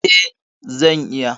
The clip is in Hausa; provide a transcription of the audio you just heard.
Eh, zan iya